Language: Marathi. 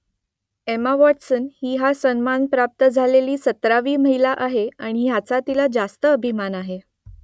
एमा वॉटसन ही हा सन्मान प्राप्त झालेली सतरावी महिला आहे आणि याचा तिला रास्त अभिमान आहे